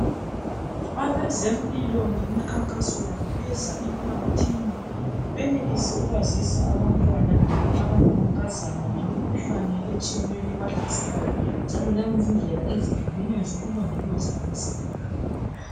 Abezempilo ngemikhankaso yabo beza emphakathini, benelise ukwazisa abantwana abangamankazana ngemikhuhlane etshiyeneyo ebahlaselayo njalo langezindlela ezehlukeneyo zokulondoloza imizimba yabo.